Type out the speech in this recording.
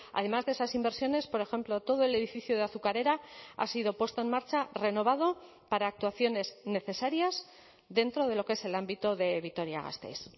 además de esas inversiones por ejemplo todo el edificio de azucarera ha sido puesto en marcha renovado para actuaciones necesarias dentro de lo que es el ámbito de vitoria gasteiz